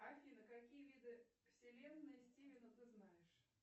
афина какие виды вселенной стивена ты знаешь